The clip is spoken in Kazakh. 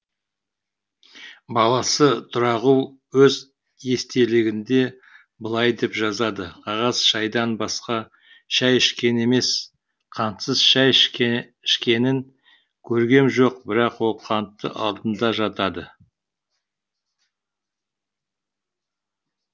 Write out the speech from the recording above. баласы тұрағұл өз естелігінде былай деп жазады қағаз шайдан басқа шай ішкен емес қантсыз шай ішкенін көргем жоқ бірақ ол қанты алдында жатады